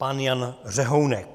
Pan Jan Řehounek.